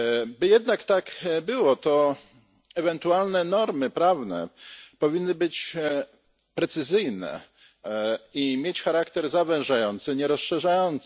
By jednak tak było, to ewentualne normy prawne powinny być precyzyjne i mieć charakter zawężający, a nie rozszerzający.